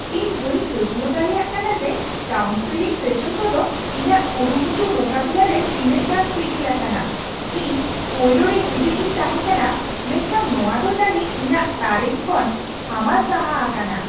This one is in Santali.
ᱤᱧ ᱵᱟᱹᱧ ᱯᱟᱹᱛᱭᱟᱹᱣ ᱫᱟᱲᱮᱭᱟᱜ ᱠᱟᱱᱟ ᱡᱮ ᱠᱟᱣᱩᱱᱥᱮᱞᱤᱝ ᱥᱮᱥᱚᱱ ᱠᱚᱫᱚ ᱤᱧᱟᱹᱜ ᱠᱩᱨᱩᱢᱩᱴᱩ ᱢᱩᱠᱟᱹᱵᱤᱞᱟᱹ ᱨᱮ ᱛᱤᱱᱟᱹᱜ ᱜᱟᱱ ᱥᱤᱜᱤᱞ ᱟᱠᱟᱱᱟ ᱾ ᱤᱧ ᱯᱳᱭᱞᱳᱨᱮ ᱦᱤᱸᱫᱤᱡ ᱤᱧ ᱛᱟᱷᱮᱸ ᱠᱟᱱᱟ, ᱢᱮᱱᱠᱷᱟᱱ ᱱᱚᱶᱟ ᱫᱚ ᱡᱟᱹᱱᱤᱡ ᱤᱧᱟᱹᱜ ᱛᱟᱨᱮᱱ ᱠᱷᱚᱱ ᱦᱟᱢᱟᱞ ᱥᱟᱦᱟ ᱟᱠᱟᱱᱟ ᱾